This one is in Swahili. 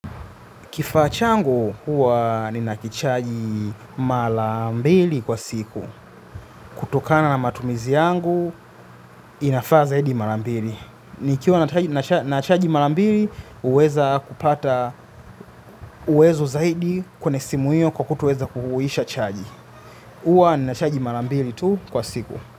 Kifaa changu huwa nina kichaji mala mbili kwa siku. Kutokana na matumizi yangu, inafaa zaidi mala mbili. Nikiwa na chaji mala mbili, huweza kupata uwezo zaidi kwenywe simu hiyo kwa kutoweza kuisha chaji. Huwa nina chaji mara mbili tu kwa siku.